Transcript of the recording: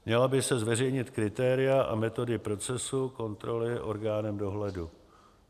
Měla by se zveřejnit kritéria a metody procesu kontroly orgánem dohledu.